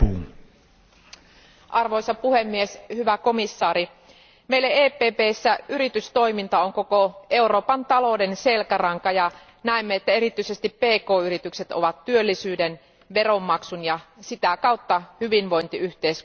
Arvoisa puhemies, hyvä komission jäsen, meille EPPssä yritystoiminta on koko Euroopan talouden selkäranka, ja näemme, että erityisesti pk yritykset ovat työllisyyden, veronmaksun ja sitä kautta hyvinvointiyhteiskuntien ylläpitäjiä.